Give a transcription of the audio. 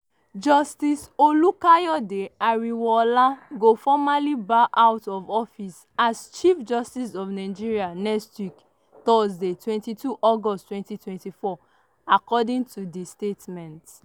justice olukayode ariwoola go formally bow out of office as chief justice of nigeria next week thursday 22 august 2024” according to di statement.